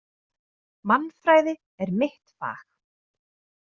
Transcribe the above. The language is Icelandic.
Mannfræði er mitt fag.